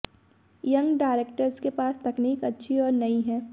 young directors के पास तकनीक अच्छी और नई है